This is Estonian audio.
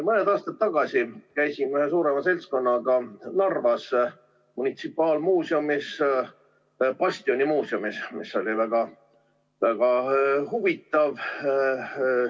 Mõni aasta tagasi käisin ühe suurema seltskonnaga Narvas munitsipaalmuuseumis – bastionimuuseumis –, mis oli väga-väga huvitav.